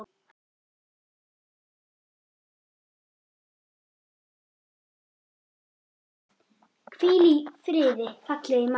Hvíl í friði, fallegi maður.